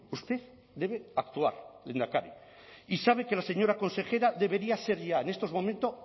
usted debe actuar lehendakari y sabe que la señora consejera debería ser ya en estos momentos